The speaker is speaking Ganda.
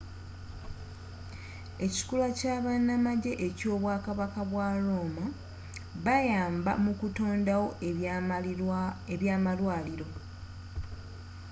ekikula kyabanamajje kyobwakabaka bwaba rooma bayamba mu kutondawo ebyamalwaliro